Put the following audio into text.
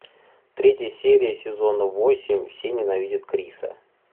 третья серия сезона восемь все ненавидят криса